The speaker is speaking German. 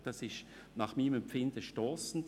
Und das ist meinem Empfinden nach stossend.